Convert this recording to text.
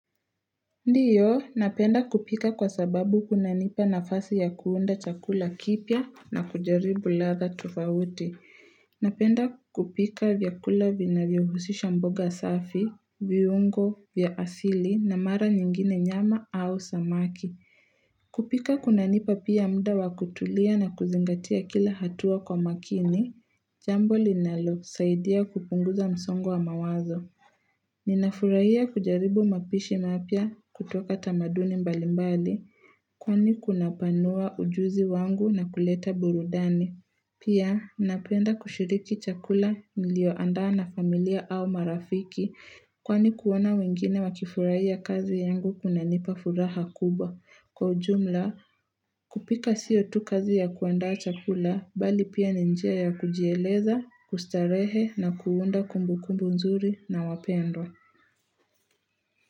Ndiyo, napenda kupika kwa sababu kunanipa nafasi ya kuunda chakula kipya na kujaribu ladha tofauti. Napenda kupika vyakula vinavyohusisha mboga safi, viungo, vya asili na mara nyingine nyama au samaki. Kupika kunanipa pia muda wa kutulia na kuzingatia kila hatua kwa makini. Jambo linalosaidia kupunguza msongo wa mawazo. Ninafurahia kujaribu mapishi mapya kutoka tamaduni mbalimbali, kwani kunapanua ujuzi wangu na kuleta burudani. Pia, napenda kushiriki chakula nilioandaa na familia au marafiki, kwani kuona wengine wakifurahia kazi yangu kunanipa furaha kubwa. Kwa ujumla, kupika sio tu kazi ya kuandaa chakula bali pia ni njia ya kujieleza, kustarehe na kuunda kumbukumbu nzuri na wapendwa.